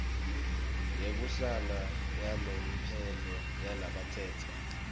yekuhlala yalomphelo yalabatsetse